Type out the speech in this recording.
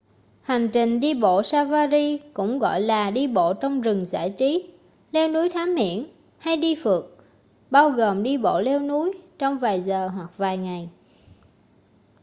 hành trình đi bộ safari cũng gọi là đi bộ trong rừng giải trí” leo núi thám hiểm” hay đi phượt” bao gồm đi bộ leo núi trong vài giờ hoặc vài ngày